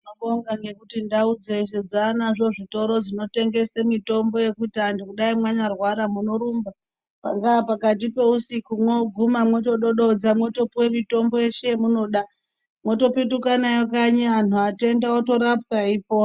Tinobonga ngekuti ndau dzeshe dzanazvo zvitoro zvinotengesa mitombo yekuti antu kudai manyarwara munorumba ,pangaa pakati pousuku mwoguma mwotodododza mwotopuwe mutombo yeshe yemunoda mwotopetuke nayo kanyi antu atenda otorapwa eipora.